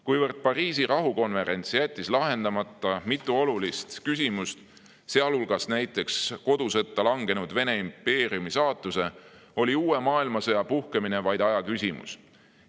Kuivõrd Pariisi rahukonverents jättis lahendamata mitu olulist küsimust, sealhulgas näiteks kodusõtta langenud Vene impeeriumi saatuse, oli uue maailmasõja puhkemine vaid aja küsimus.